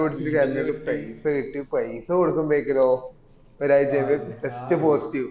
കരഞ്ഞു പയിസ കിട്ടി പൈസ കൊടുക്കുമ്പക്കിലോ ഒരാഴ്‌ചത്തേക്ക് test possittive